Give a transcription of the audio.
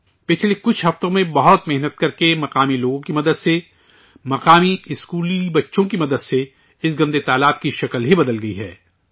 پچھلے کچھ ہفتوں میں بہت محنت کرکے، مقامی لوگوں کی مدد سے، مقامی اسکولی بچوں کی مدد سے، اس گندے تالاب کو درست کیا گیا ہے